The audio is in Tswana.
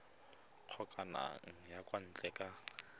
kgokagano ya kwa ntle ka